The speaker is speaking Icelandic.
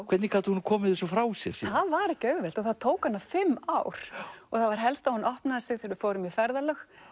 hvernig gat hún komið þessu frá sér það var ekki auðvelt og tók hana fimm ár það var helst að hún opnaði sig í ferðalögum